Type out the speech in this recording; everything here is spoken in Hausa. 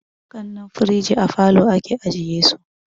Kanan firiji a falo ake ajiye su